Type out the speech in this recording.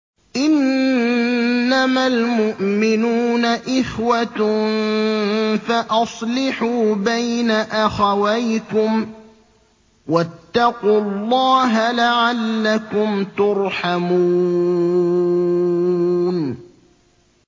إِنَّمَا الْمُؤْمِنُونَ إِخْوَةٌ فَأَصْلِحُوا بَيْنَ أَخَوَيْكُمْ ۚ وَاتَّقُوا اللَّهَ لَعَلَّكُمْ تُرْحَمُونَ